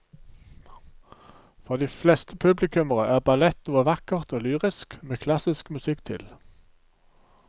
For de fleste publikummere er ballett noe vakkert og lyrisk med klassisk musikk til.